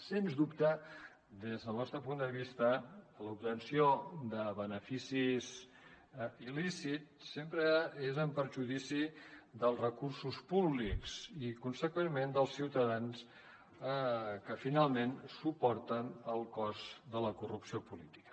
sens dubte des del nostre punt de vista l’obtenció de beneficis il·lícits sempre és en perjudici dels recursos públics i consegüentment dels ciutadans que finalment suporten el cost de la corrupció política